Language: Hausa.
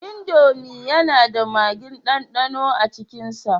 Indomi na da magin dandano a cikin sa